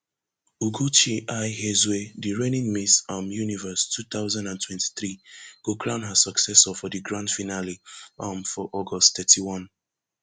ugochi i hezue di reigning miss um universe two thousand and twenty-three go crown her successor for di grand finale um for august thirty-one